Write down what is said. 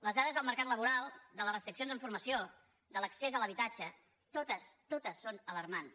les dades del mercat laboral de les restriccions en formació de l’accés a l’habitatge totes totes són alarmants